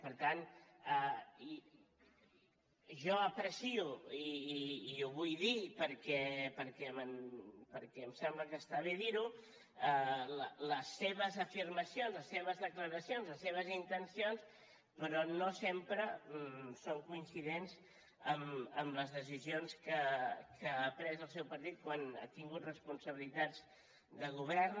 per tant jo aprecio i ho vull dir perquè em sembla que està bé dir ho les seves afirmacions les seves declaracions les seves intencions però no sempre són coincidents amb les decisions que ha pres el seu partit quan ha tingut responsabilitats de govern